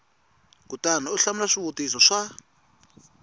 kutani u hlamula swivutiso swa